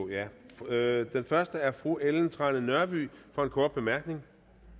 ja den første er fru ellen trane nørby for en kort bemærkning